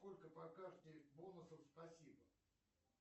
сколько по карте бонусов спасибо